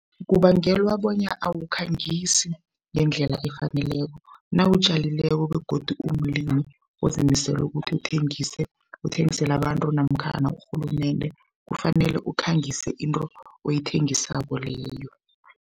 kubangelwa bonya awakhangisi ngendlela efaneleko. Nawutjalileko begodu umlimi ozimiseleko ukuthi uthengise, uthengisela abantu namkhana urhulumende kufanele ukukhangisa into oyithengisako leyo.